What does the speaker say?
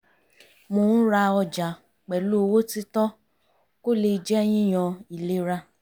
mo ń ra ọjà pẹ̀lú owó títọ́ kó le jẹ́ yíyan ìlera